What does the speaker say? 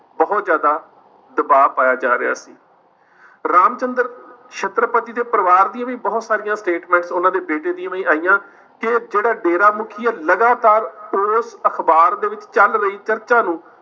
ਬਹੁਤ ਜ਼ਿਆਦਾ ਦਬਾਅ ਪਾਇਆ ਜਾ ਰਿਹਾ ਸੀ ਰਾਮ ਚੰਦਰ ਛਤਰਪਤੀ ਦੇ ਪਰਿਵਾਰ ਦੀਆਂ ਬਹੁਤ ਸਾਰੀਆਂ statement ਉਹਨਾਂ ਦੇ ਬੇਟੇ ਦੀਆਂ ਵੀ ਆਈਆਂ ਕਿ ਜਿਹੜਾ ਡੇਰਾ ਮੁੱਖੀ ਹੈ ਲਗਾਤਾਰ ਉਸ ਅਖ਼ਬਾਰ ਦੇ ਵਿੱਚ ਚੱਲ ਰਹੀ ਚਰਚਾ ਨੂੰ